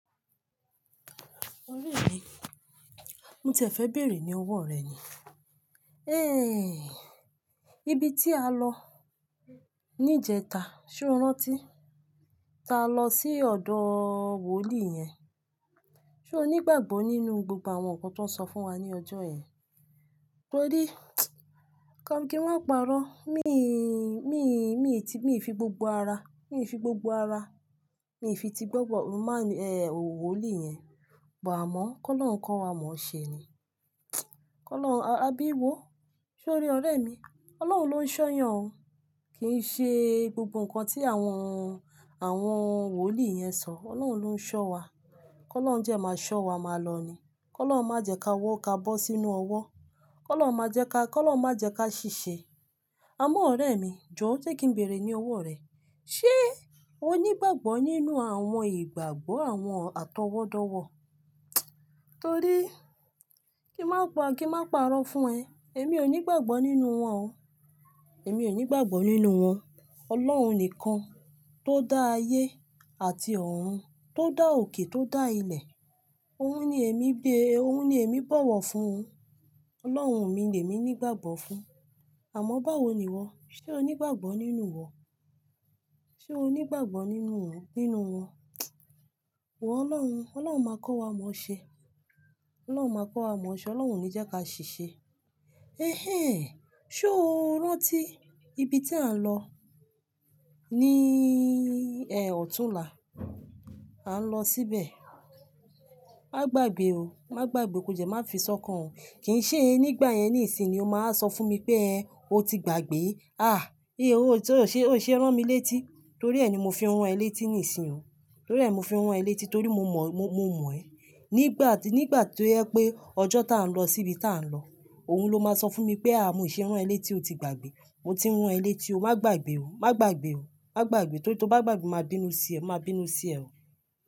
Ọ̀rẹ́ mi, mo tiẹ̀ fẹ bẹ̀rẹ̀ ni ọwọ rẹ ni. Ehn, ibi ti a lọ nijẹta, ṣe o rántí? Ta lọ sí ọ̀dọ̀ wòlíì yẹn. Se o nígbàgbọ nínú gbogbo àwọn ǹkan tó ń sọ fún wa ní ọjọ́ yẹn? Torí, kí wọ́n máa parọ́, mi, mi, mi ti, mi fi gbogbo ara, mi fi gbogbo ara, mi fi ti gboro man, eh, wòlíì yẹn. Pe a mo, kólọun kọ́ wa mọ̀ọ́ṣẹ ni. Ki olọhun, àbí i wò, ṣe o rí ọ̀rẹ́ mi? Ọlọ́hun ló ń ṣọ́yàn o, kì í ṣe gbogbo ǹkan tí àwọn, àwọn wòlíì yẹn sọ, Ọlọ́hun ló ń ṣọ́ wa. Ki olohun je máa ṣọ́ wa, máa lọ ni. Ki olohun má jẹ ka wọ ká bọ́ sínú ọwọ́. Ki olohun má jẹ ká, ki olohun má jẹ ká ṣìṣe. Àmọ́ ọ̀rẹ́ mi, jọ̀ se kí n bèerè ní ọwọ́ rẹ, ṣe o nígbàgbọ nínú àwọn ìgbàgbọ́ àwọn atọwọ́dọ̀wọ̀? Torí, kí n máa pa, kí n máa parọ́ fún ẹ. Èmi ò nígbàgbọ nínú wọn o. Èmi ò nígbàgbọ nínú wọn. Ọlohun nìkan ti ó dá ayé àti ọ̀run, ti ó dá òkè, ti ó dá ilẹ̀. Ohun ni emi be, ohun ni emi bowo fún o Ọlọ́hun mi ni emi nígbàgbọ fún. Àmọ́ báwo ni wo? Ṣe o nígbàgbọ nínú iwọ? Ṣe o nígbàgbọ nínú nínú Wọ̀ Ọlọ́hun, Ọlọ́hun máa kọ́ wa mọ̀ọ́ ṣẹ. Ọlọ́hun máa kọ́ wa mọ̀ọ́ ṣẹ, Ọlọ́hun o ni je ká ṣìṣe. Ehen, ṣe o rántí ibi tí à ń lọ ní, eh, ọ̀túnla? A ń lọ síbẹ̀. Má gbàgbé o, má gbàgbé, kò dẹ́ má fi sọ́kàn o. Kì í ṣe nígbà yẹn ní ìsìn ni o máa sọ fún mi pé ẹ, o ti gbàgbé. Ah, i, o ṣe, o ṣe rán mi létí torí ẹ ni mo fi rán ẹ létí ní ìsìn o. Torí ẹ ni mo fi rán ẹ létí torí mo mọ̀, mo, mo mọ̀ ẹ. Nígbà tí, nígbà tó jẹ pé ọjọ́ ti á ń lọ síbi ti á ń lọ, òun ló máa sọ fún mi pé a, mi o ṣe rán ẹ létí o ti gbàgbé. Mo ti n rán ẹ létí o, má gbàgbé o, má gbàgbé o, má gbàgbé torí tí o bá gbàgbé máa bínú sí ẹ, máa bínú sí ẹ o.